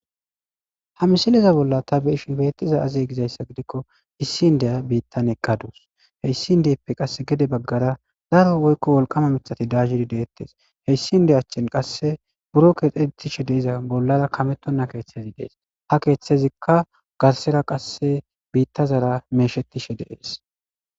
ha misileza bolla ta beishin beettiza azeye gizayssa gidikko issi indiya biittan eqqaduus heyssin dieppe qasse gede baggara zaro woykko wolqama mitati daaziri deettes heyssi nde achchen qasse buro keexetishe deiza bollara kametonna keeththezi dees ha keeththezikka garsera qasse biitta zara meeshetishe deees